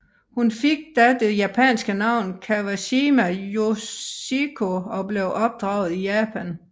Hun fik da det japanske navn Kawashima Yoshiko og blev opdraget i Japan